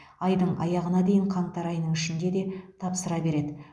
айдың аяғына дейін қаңтар айының ішінде де тапсыра береді